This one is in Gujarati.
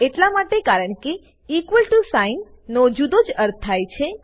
આ એટલા માટે કારણ કે ઇક્વલ ટીઓ સાઇન નો જુદો જ અર્થ છે